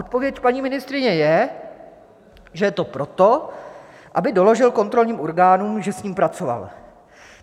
Odpověď paní ministryně je, že je to proto, aby doložil kontrolním orgánům, že s ním pracoval.